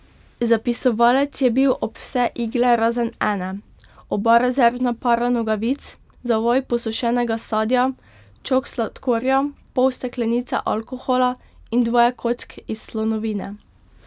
Zapisovalec je bil ob vse igle razen ene, oba rezervna para nogavic, zavoj posušenega sadja, čok sladkorja, pol steklenice alkohola in dvoje kock iz slonovine.